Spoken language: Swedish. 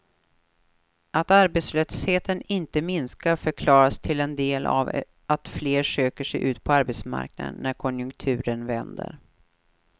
Att arbetslösheten inte minskar förklaras till en del av att fler söker sig ut på arbetsmarknaden när konjunkturen vänder.